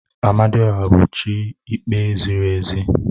Amadioha bụ chi ikpe ziri ezi